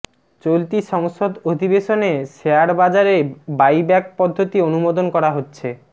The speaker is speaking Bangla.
চলতি সংসদ অধিবেশনে শেয়ারবাজারে বাইব্যাক পদ্ধতি অনুমোদন করা হচ্ছে